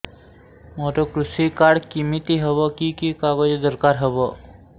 ମୋର କୃଷି କାର୍ଡ କିମିତି ହବ କି କି କାଗଜ ଦରକାର ହବ